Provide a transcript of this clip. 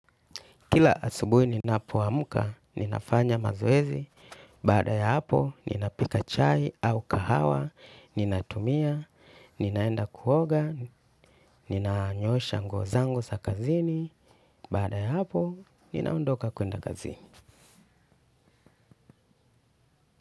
Kila asubuhi ninapoamka ninafanya mazoezi. Baada ya hapo ninapika chai au kahawa. Ninatumia, ninaenda kuoga, ninanyoosha nguo zangu za kazini. Baada ya hapo, ninaondoka kwenda kazini.